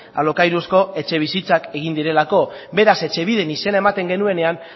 alokairuzko etxebizitzak egin direlako beraz etxebiden izena ematen genuenean